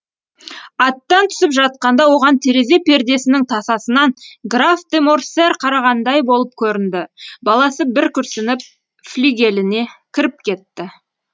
аттан түсіп жатқанда оған терезе пердесінің тасасынан граф де морсер қарағандай болып көрінді баласы бір күрсініп флигеліне кіріп кетті